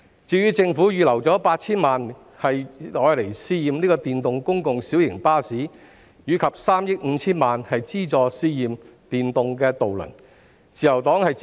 至於政府預留 8,000 萬元試驗電動公共小型巴士，以及3億 5,000 萬元資助試驗電動渡輪，自由黨亦表示支持。